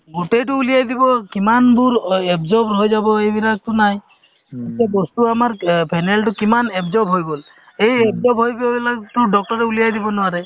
গোটেইতো উলিয়াই দিব কিমানবোৰ absorb হৈ যাব এইবিলাকতো নাই এতিয়া বস্তু আমাৰ অ phenyl তো কিমান absorb হৈ গ'ল এই absorb হৈ যোৱাবিলাকতো doctor ৰে উলিয়াই দিব নোৱাৰে